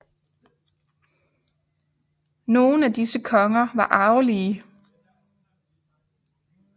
Nogen af disse konger var arvelige